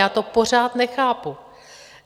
Já to pořád nechápu.